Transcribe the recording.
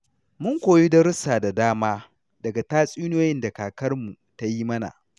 Mun koyi darussa da dama daga tatsuniyoyin da kakarmu ta yi mana.